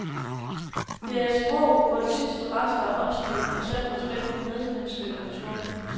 Det er et sprog, hvor de sidste rester af åndsliv og sand respekt for medmennesket er forsvundet.